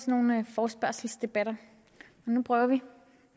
nogle forespørgselsdebatter men nu prøver vi